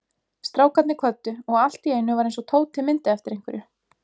Strákarnir kvöddu og allt í einu var eins og Tóti myndi eftir einhverju.